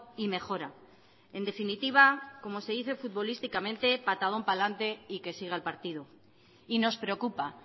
y mejora en definitiva como se dice futbolísticamente patadón pa lante y que siga el partido y nos preocupa